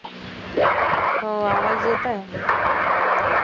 आवाज येत आहे